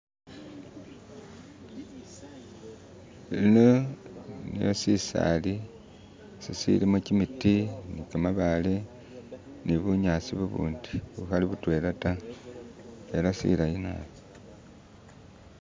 Sino sisali sisilimo kimiti ne kamabale, nibunyasi bubundi bukhali butwela ta, ela silayi naabi.